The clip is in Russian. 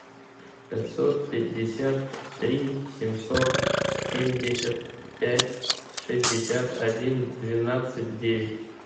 пятьсот пятьдесят три семьсот семьдесят пять шестьдесят один двенадцать девять